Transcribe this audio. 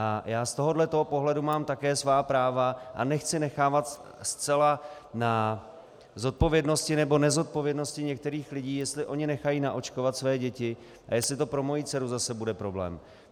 A já z tohohle pohledu mám také svá práva a nechci nechávat zcela na zodpovědnosti nebo nezodpovědnosti některých lidí, jestli oni nechají naočkovat své děti a jestli to pro moji dceru zase bude problém.